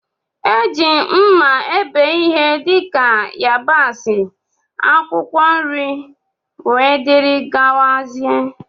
Eji mma ebe ihe dika yabasi, akwụkwọ nri wdg.